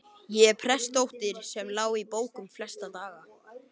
Ég er prestsdóttirin sem lá í bókum flesta daga.